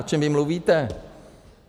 O čem vy mluvíte?